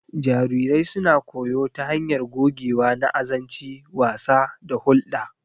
Jarirai suna koyo ta hanyar gogewa na azanci, wasa, da hulɗa.